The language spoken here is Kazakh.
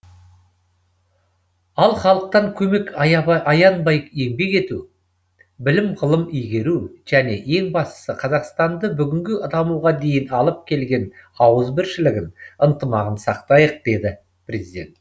ал халықтан көмек аянбай еңбек ету білім ғылым игеру және ең бастысы қазақстанды бүгінгі дамуға дейін алып келген ауызбіршілігін ынтымағын сақтайық деді президент